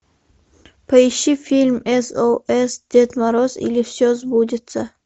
поищи фильм с о с дед мороз или все сбудется